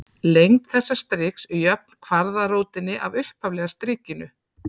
Lengd þessa striks er jöfn kvaðratrótinni af upphaflega strikinu.